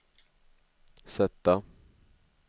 sätta